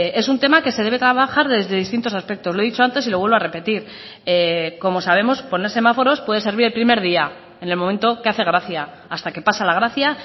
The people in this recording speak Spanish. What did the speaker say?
es un tema que se debe trabajar desde distintos aspectos lo he dicho antes y lo vuelvo a repetir como sabemos poner semáforos puede servir el primer día en el momento que hace gracia hasta que pasa la gracia